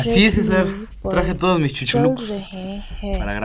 Trade मिल पर चल रहे हैं।